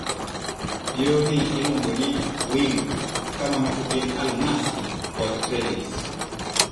yoo ni iluongo ni "wingu" ka mamoko gin "almasi" kod "trellis".